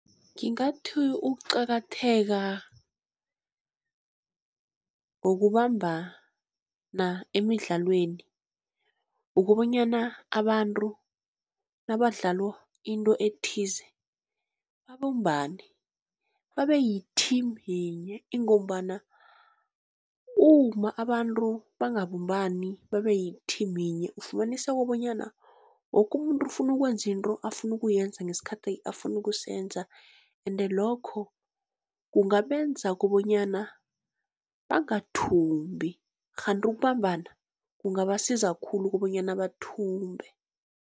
Ngingathi ukucakatheka ngokubambana emidlalweni, ukobonyana abantu nabadlala into ethize babumbane babe yi-team yinye. Ingombana uma abantu bangabumbani babe yi-team yinye, ufumaniseka kobonyana woke umuntu ufuna ukwenza into afuna ukuyenza ngesikhathi afuna ukusenza, ende lokho kungabenza kobonyana bangathumbi, kghanti ukubambana kungabasiza khulu kobonyana bathumbe.